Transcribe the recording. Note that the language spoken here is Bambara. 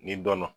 Ni dɔn na